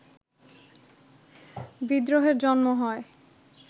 বিদ্রোহের জন্ম হয়